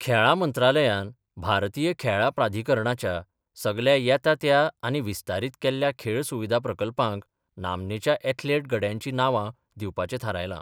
खेळां मंत्रालयान, भारतीय खेळा प्राधीकरणाच्या सगल्या येता त्या आनी विस्तारीत केल्ल्या खेळ सुविधा प्रकल्पांक नामनेच्या एथलेट गड्यांचीं नावा दिवपाचें थारायलां.